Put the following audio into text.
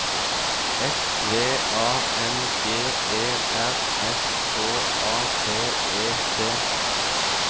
S V A N G E R S K A P E T